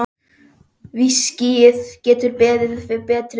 Viskíið getur beðið betri tíma.